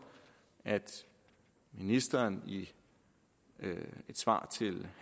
ministerens svar